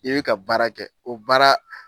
I bɛ ka baara kɛ o baara